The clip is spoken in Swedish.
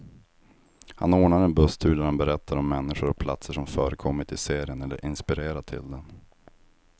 Han ordnar en busstur där han berättar om människor och platser som förekommit i serien, eller inspirerat till den.